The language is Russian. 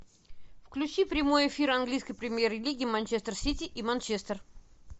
включи прямой эфир английской премьер лиги манчестер сити и манчестер